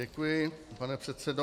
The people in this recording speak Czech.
Děkuji, pane předsedo.